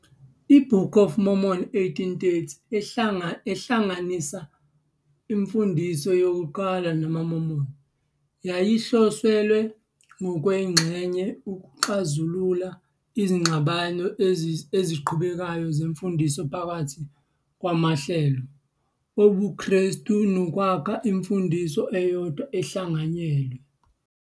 I- Book of Mormon, 1830, ehlanganisa imfundiso yokuqala yamaMormon yayihloselwe ngokwengxenye ukuxazulula izingxabano eziqhubekayo zemfundiso phakathi kwamahlelo obuKhristu nokwakha imfundiso eyodwa ehlanganyelwe.